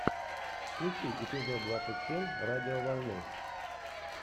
включи эпизод двадцать семь радиоволны